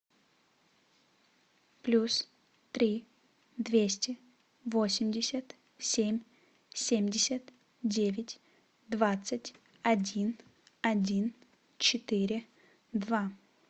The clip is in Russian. плюс три двести восемьдесят семь семьдесят девять двадцать один один четыре два